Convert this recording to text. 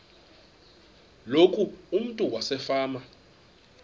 loku umntu wasefama